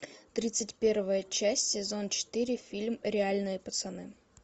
тридцать первая часть сезон четыре фильм реальные пацаны